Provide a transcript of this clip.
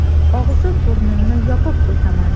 – Og‘zi, burnimni yopib o‘taman.